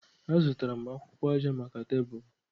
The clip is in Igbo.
Azụtara m akwụkwọ aja maka tebụl.